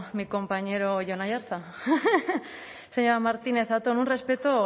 mi compañero jon aiartza señor martínez zatón un respeto